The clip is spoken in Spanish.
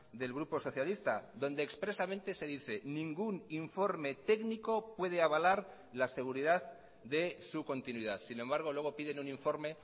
del grupo socialista donde expresamente se dice ningún informe técnico puede avalar la seguridad de su continuidad sin embargo luego piden un informe